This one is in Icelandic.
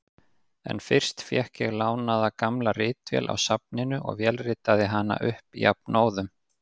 En fyrst fékk ég lánaða gamla ritvél á safninu og vélritaði hana upp jafnóðum.